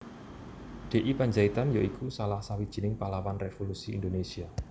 D I Pandjaitan ya iku salah sawijining pahlawan revolusi Indonésia